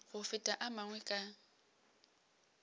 go feta a mangwe ka